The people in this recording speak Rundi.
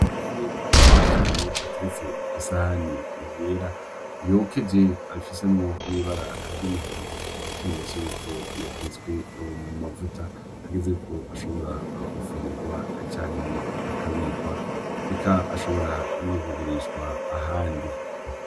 Amafi menshi cane ateretse kw'isahani yera yokeje afisemwo n'ibara ry'umuhondo nk'ikimenyetso yuko yatetswe mu mavuta hageze ko ashobora gufungurwa canke akabikwa eka ashobora no kugurishwa ahandi.